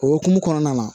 O hokumu kɔnɔna na